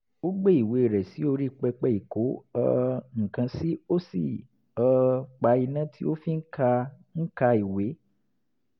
ó gbé ìwé rẹ̀ sí orí pẹpẹ ìkó um nǹkan sí ó sì um pa iná tí ó fi ń ka ń ka ìwé